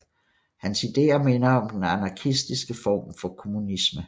Hans ideer minder om den anarkistiske form for kommunisme